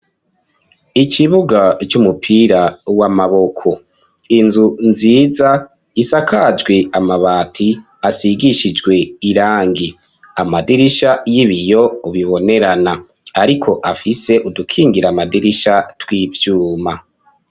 Ikibuga c'umupira w'amaboko, inzu nziza isakajwe amabati asigishijwe irangi amadirisha y'ibiyo bibonerana ariko afise udukingira amadirisha tw'ivyuma.